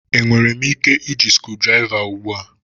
Enwere m ike iji screwdriver ugbu a?